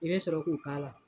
I bɛ sɔrɔ k'u k'a la.